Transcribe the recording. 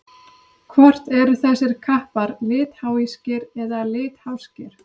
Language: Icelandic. Hvort eru þessir kappar litháískir eða litháskir?